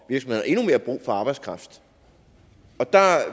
har endnu mere brug for arbejdskraft og der